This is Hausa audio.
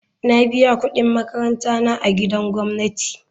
Na biya kudin makaranta na a gidan gwamnati.